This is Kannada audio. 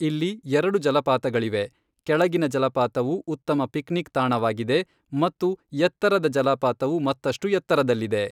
ಇಲ್ಲಿ ಎರಡು ಜಲಪಾತಗಳಿವೆ, ಕೆಳಗಿನ ಜಲಪಾತವು ಉತ್ತಮ ಪಿಕ್ನಿಕ್ ತಾಣವಾಗಿದೆ ಮತ್ತು ಎತ್ತರದ ಜಲಪಾತವು ಮತ್ತಷ್ಟು ಎತ್ತರದಲ್ಲಿದೆ.